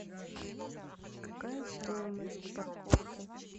какая стоимость парковки